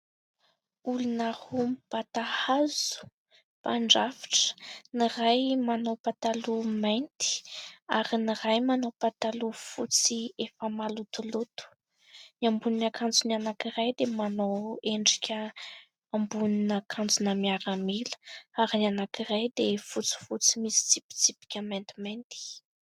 Olona roa mibata hazo : mpandrafitra. Ny iray manao pataloha mainty ; ary ny iray manao pataloha fotsy efa malotoloto. Ny ambonin'akanjon'ny anankiray dia manao endrika ambonin'akanjo-na miaramila ; ary ny anankiray dia fotsifotsy misy tsipitsipika maintimainty.